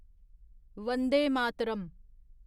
Vande Mataram